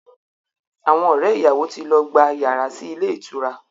Àwọn ọ̀rẹ́ ìyàwó ti lọ gba yàrá sí ilé ìtura